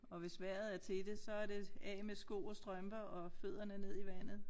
Og hvis vejret er til det så er det af med sko og strømper og fødderne ned i vandet